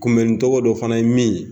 Kunbɛnni cogo dɔ fana ye min ye